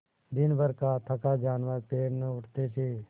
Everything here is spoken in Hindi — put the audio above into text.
दिनभर का थका जानवर पैर न उठते थे